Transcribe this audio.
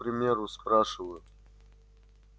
вот к примеру спрашиваю